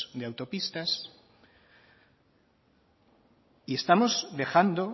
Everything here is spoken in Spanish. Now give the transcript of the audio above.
de autopistas y estamos dejando